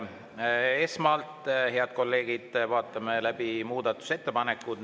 Esmalt, head kolleegid, vaatame läbi muudatusettepanekud.